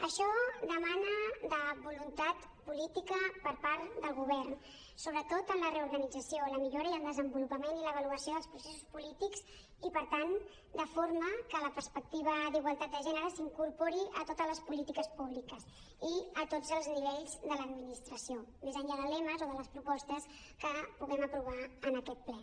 això demana voluntat política per part del govern sobretot en la reorganització la millora i el desenvolupament i l’avaluació dels processos polítics i per tant de forma que la perspectiva d’igualtat de gènere s’incorpori a totes les polítiques públiques i a tots els nivells de l’administració més enllà de lemes o de les propostes que puguem aprovar en aquest ple